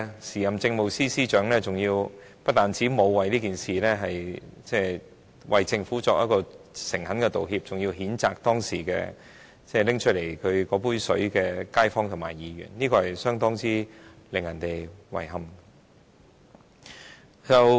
時任政務司司長不但沒有代表政府為這件事誠懇道歉，還譴責當時拿出這杯水的街坊，令人感到相當遺憾。